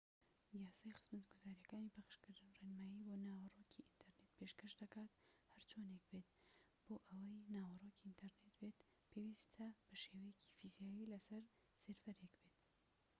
یاسای خزمەتگوزاریەکانی پەخشکردن ڕێنمایی بۆ ناوەڕۆکی ئینتەرنێت پێشکەش دەکات هەرچۆنێک بێت بۆ ئەوەی ناوەڕۆکی ئینتەرنێت بێت پێویستە بە شێوەیەکی فیزیایی لە سەر سێرڤەرێک بێت